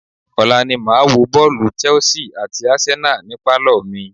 Ọ̀la ni màá wo bọ́ọ̀lù Chelse àti Arsenal ni pálọ̀ mi.